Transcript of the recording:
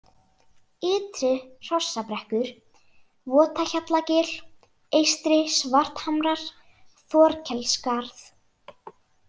Ytri-Hrossabrekkur, Votahjallagil, Eystri-Svarthamrar, Þorkelsskarð